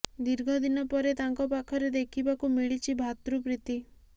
ଦୀର୍ଘ ଦିନ ପରେ ତାଙ୍କ ପାଖରେ ଦେଖିବାକୁ ମିଳିଛି ଭାତୃପ୍ରୀତି